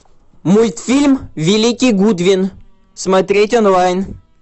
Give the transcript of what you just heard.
мультфильм великий гудвин смотреть онлайн